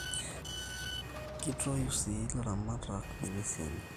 kitoyu sii ilaramatak inguesin enye